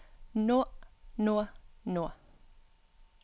nå nå nå